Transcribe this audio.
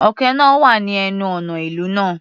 Òkè náà wà ní ẹnu ọ̀nà ìlú náà.